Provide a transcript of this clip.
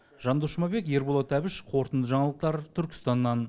жандос жұмабек ерболат әбіш қорытынды жаңалықтар түркістаннан